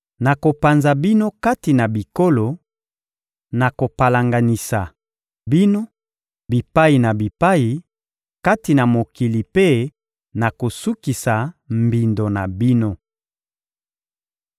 Nakopanza bino kati na bikolo, nakopalanganisa bino bipai na bipai kati na mokili mpe nakosukisa mbindo na bino.